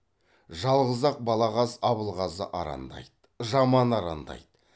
жалғыз ақ балағаз абылғазы арандайды жаман арандайды